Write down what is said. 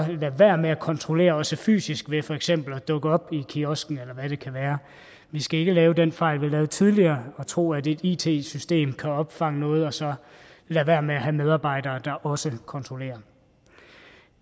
lade være med at kontrollere også fysisk ved for eksempel at dukke op i kiosken eller hvad det kan være vi skal ikke lave den fejl vi lavede tidligere og tro at et it system kan opfange noget og så lade være med at have medarbejdere der også kontrollerer